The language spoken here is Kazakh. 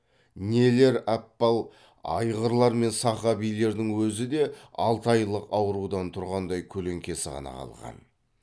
нелер аппал айғырлар мен сақа биелердің өзі де алты айлық аурудан тұрғандай көлеңкесі ғана қалған